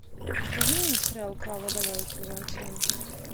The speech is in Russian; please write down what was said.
покажи мне сериал клава давай сезон семь